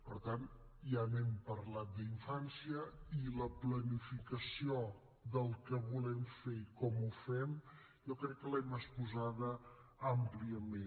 per tant ja n’hem parlat d’infància i la planificació del que volem fer i com ho fem jo crec que l’hem exposada àmpliament